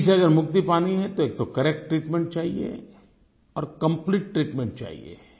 TB से अगर मुक्ति पानी है तो एक तो करेक्ट ट्रीटमेंट चाहिये और कंप्लीट ट्रीटमेंट चाहिये